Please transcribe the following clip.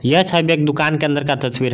यह छबि एक दुकान के अंदर का तस्वीर है।